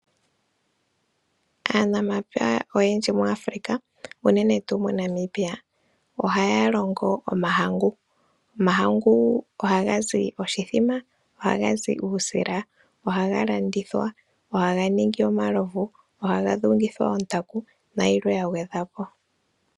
Aanamapya oyendji moAfrica uunene tu moNamibia ohaya longo omahangu. Omahangu oha ga zi oshithima, oha ga zi uusila, oha ga landithwa, oha ga ningi omalovu, oha ga dhungithwa ontaku nayilwe yagwedhwa po.